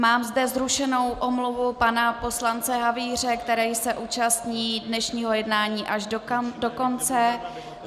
Mám zde zrušenou omluvu pana poslance Havíře, který se účastní dnešního jednání až do konce.